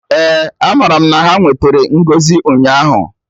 Eh, amaram na ha nwetere ngọzi ụnyaahụ